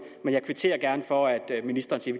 men jeg kvitterer gerne for at ministeren siger